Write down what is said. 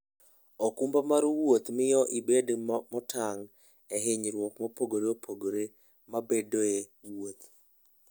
okumba mar wuoth miyo ibedo motang' ne hinyruok mopogore opogore mabedoe e wuoth.